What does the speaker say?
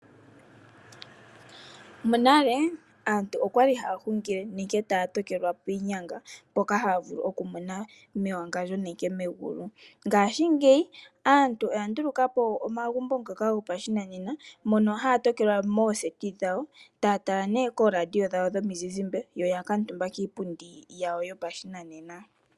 Monale aantu oya li haya hungile nenge haya tokelwa piinyanga, mpoka haya vulu okumona mewangandjo nenge megulu. Ngaashingeyi aantu oya nduluka po omagumbo goshinanena, moka haa tokelwa moseti taya tala oradio yomuzizimba ya kuutumba kiipundi yoshinanena.